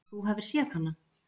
Að þú hafir séð hana?